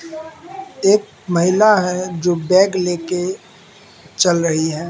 एक महिला है जो बैग लेके चल रही है।